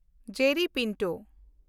Jerry Pinto